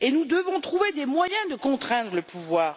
Nous devons trouver des moyens de contraindre le pouvoir.